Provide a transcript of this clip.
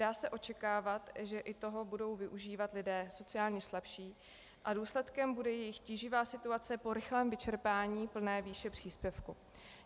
Dá se očekávat, že i toho budou využívat lidé sociálně slabší a důsledkem bude jejich tíživá situace po rychlém vyčerpání plné výše příspěvku.